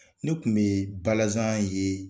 Ne kun bɛ balazan ye.